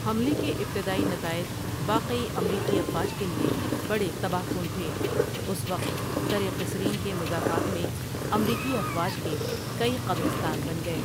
حملے کے ابتدائی نتائج واقعی امریکی افواج کے لیے بڑے تباہ کن تھے اُس وقت درقصرین کے مضافات میں امریکی افواج کے کئی قبرستان بن گئے۔